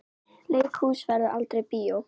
Leikhús verður aldrei bíó.